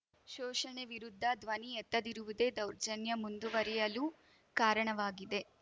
ಶೋಷಣೆ ವಿರುದ್ಧ ಧ್ವನಿ ಎತ್ತದಿರುವುದೇ ದೌರ್ಜನ್ಯ ಮುಂದುವರಿಯಲು ಕಾರಣವಾಗಿದೆ